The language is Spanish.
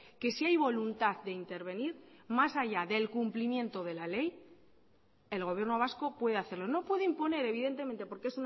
que si hay voluntad de intervenir más allá del cumplimiento de la ley el gobierno vasco puede hacerlo no puede imponer evidentemente porque